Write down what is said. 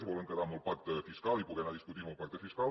es volen quedar amb el pacte fiscal i poder anar discutint el pacte fiscal